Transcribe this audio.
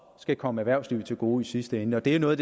komme erhvervslivet til gode i sidste ende og det er noget af